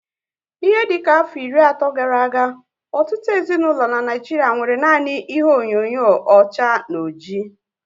Ihe dịka afọ iri ato gara aga, ọtụtụ ezinaụlọ n'Naijiria nwéré nanị ihe onyinyo ọcha na ọjị